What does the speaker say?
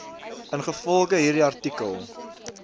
ingevolge hierdie artikel